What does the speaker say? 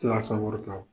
Tila sakɔrɔ ta o